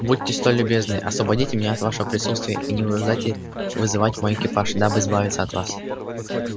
будьте столь любезны освободите меня от вашего присутствия и не вынуждайте вызывать мой экипаж дабы избавиться от вас